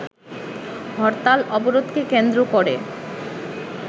হরতাল অবরোধকে কেন্দ্র করে